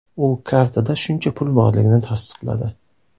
U kartada shuncha pul borligini tasdiqladi.